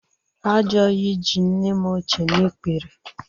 Ajoyi ji nne m ochie n'ikpere